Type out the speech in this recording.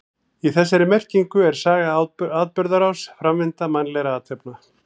Í þessari merkingu er saga atburðarás, framvinda mannlegra athafna.